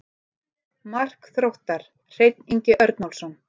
Mark Þróttar: Hreinn Ingi Örnólfsson.